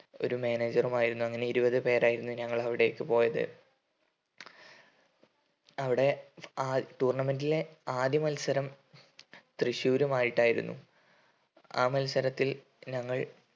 ഒരു manager ഉം ആയിരുന്നു അങ്ങനെ ഇരുപതു പേരായിരുന്നു ഞങ്ങൾ അവിടേക്ക് പോയത് അവിടെ ആ tournament ലെ ആദ്യ മത്സരം തൃശ്ശൂരുമായിട്ടായിരുന്നു ആ മത്സരത്തിൽ ഞങ്ങൾ